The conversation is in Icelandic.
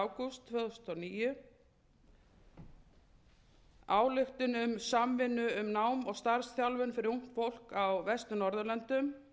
ágúst tvö þúsund og níu ályktun um samvinnu um nám og starfsþjálfun fyrir ungt fólk á vestur norðurlöndum